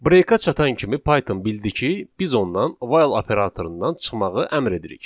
'Break'ə çatan kimi Python bildi ki, biz ondan 'while' operatorundan çıxmağı əmr edirik.